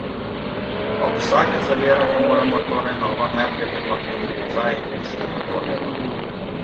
Ob vsakem zaviranju moramo torej nogo najprej premakniti nazaj in šele nato levo.